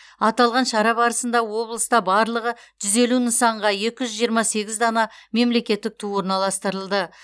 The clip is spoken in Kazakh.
аталған шара барысында облыста барлығы жүз елу нысанға екі жүз жиырма сегіз дана мемлекеттік ту орналастырылды